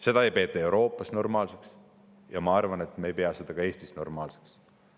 Seda ei peeta Euroopas normaalseks ja ma arvan, et me ei pea seda ka Eestis normaalseks.